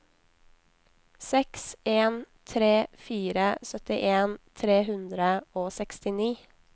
seks en tre fire syttien tre hundre og sekstini